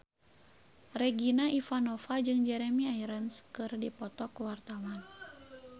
Regina Ivanova jeung Jeremy Irons keur dipoto ku wartawan